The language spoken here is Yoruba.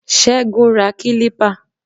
Ségun ra kilipa